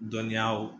Dɔnniyaw